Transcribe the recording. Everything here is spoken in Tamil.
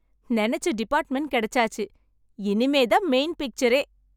நெனச்ச டிபார்ட்மென்ட் கிடைச்சாச்சு, இனிமே தான் மெயின் பிச்சரே!